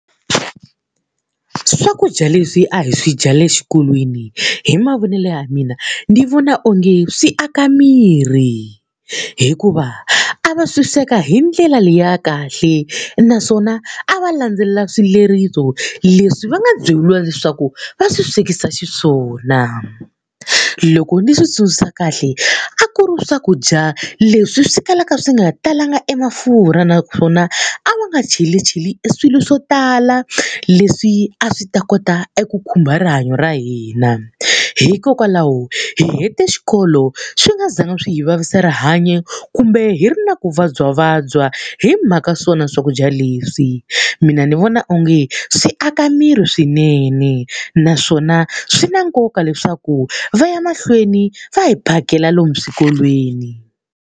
Swakudya leswi a hi swi dyaka le xikolweni hi mavonelo ya mina, ndzi vona onge swi aka miri hikuva a va swi sweka hi ndlela liya kahle naswona a va landzelela swileriso leswi va nga byeriwa leswaku va swi swekisa xiswona. Loko ni swi tsundzuka kahle a ku ri swakudya leswi swi kalaka swi nga talanga emafurha naswona a va nga cheli cheli eswilo swo tala leswi a swi ta kota eku khumba rihanyo ra hina. Hikokwalaho hi hete xikolo swi nga zangi swi hi vavisa rihanyo kumbe hi ri na ku vabyavabya hi mhaka swona swakudya leswi. Mina ni vona onge swi aka miri swinene, naswona swi na nkoka leswaku va ya mahlweni va hi phakela lomu swikolweni.